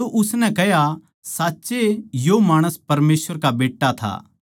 तो उसनै कह्या साच्चए यो माणस परमेसवर का बेट्टा था